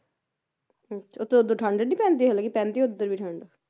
ਹੁੰ ਉੱਥੇ ਉਹਦ ਠੰਡ ਨੀ ਪੈਂਦੀ ਹਲਾਂ ਕੇ ਪੈਂਦੀ ਉਧਰ ਵੀ ਠੰਡ